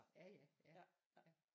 Ja jaja ja ja